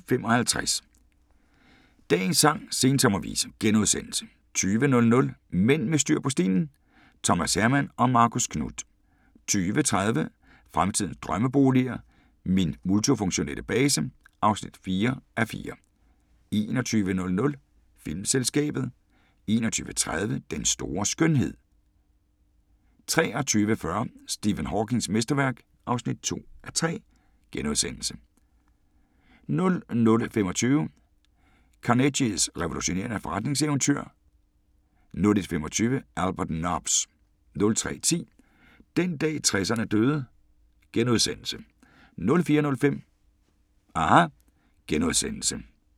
19:55: Dagens sang: Sensommervise * 20:00: Mænd med styr på stilen: Thomas Herman & Marcus Knuth 20:30: Fremtidens drømmeboliger: Min multifunktionelle base (4:4) 21:00: Filmselskabet 21:30: Den store skønhed 23:40: Stephen Hawkings mesterværk (2:3)* 00:25: Carnegies revolutionerende forretningseventyr 01:25: Albert Nobbs 03:10: Den dag 60'erne døde * 04:05: aHA! *